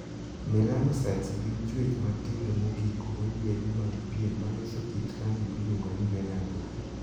Melanocytes' gin chuech matindo mogik moyiedhi mag pien ma loso kit rangi miluongo ni 'melanin'.